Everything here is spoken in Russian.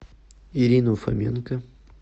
ирину фоменко